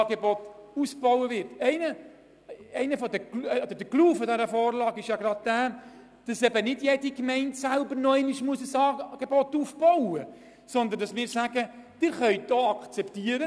Dies, weil es nur noch darum geht, jene Gemeinden, die jetzt noch kein Angebot haben, während der ersten paar Jahre mitzufinanzieren.